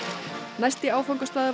næsti áfangastaður